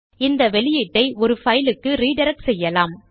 இந்த அவுட்புட்டை ஒரு பைலுக்கு ரிடிரக்ட் செய்யலாம்